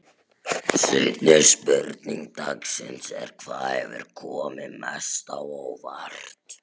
Seinni spurning dagsins er: Hvað hefur komið mest á óvart?